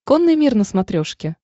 конный мир на смотрешке